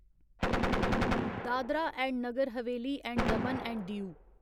Dadra and Nagar Haveli and Daman and Diu